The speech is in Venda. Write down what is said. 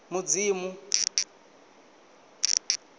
mudzimu